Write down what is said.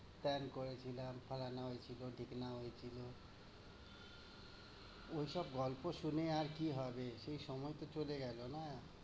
তেন করেছিলাম, ফারহানা হয়েছিলো, ডিকনা হয়েছিলো। ঐসব গল্প শুনে আর কি হবে? সেই সময় তো চলে গেলো না?